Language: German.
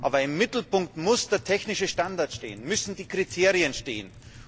Aber im Mittelpunkt muss der technische Standard stehen, müssen die Kriterien stehen.